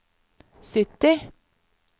sytti